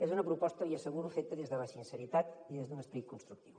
és una proposta l’hi asseguro feta des de la sinceritat i des d’un esperit constructiu